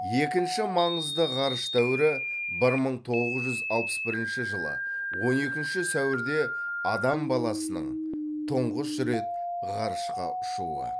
екінші маңызды ғарыш дәуірі бір мың тоғыз жүз алпыс бірінші жылы он екінші сәуірде адам баласының тұңғыш рет ғарышқа ұшуы